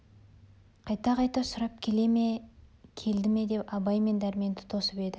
қайта-қайта сұрап келе ме келді ме деп абай мен дәрменді тосып еді